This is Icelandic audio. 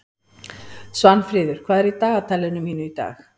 Svanfríður, hvað er í dagatalinu mínu í dag?